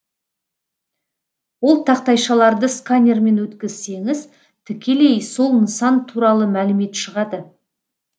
ол тақтайшаларды сканермен өткізсеңіз тікелей сол нысан туралы мәлімет шығады